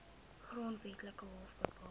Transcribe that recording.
grondwetlike hof bepaal